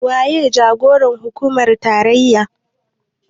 Waye jagoran hukumar tarayya?